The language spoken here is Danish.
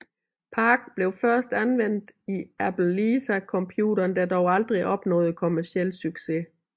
PARC blev først anvendt i Apple Lisa computeren der dog aldrig opnåede kommerciel succes